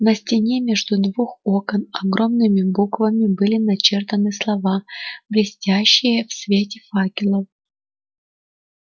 на стене между двух окон огромными буквами были начертаны слова блестящие в свете факелов